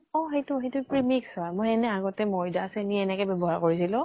অ সেইটো, সেইটো premix হয়। মই এনে আগতে মৈদা চেনী এনেকে বেৱ্য়হাৰ কৰিছিলো